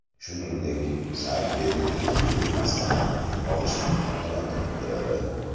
Shuningdek, sayt bepul huquqiy maslahat olish imkoniyatini beradi.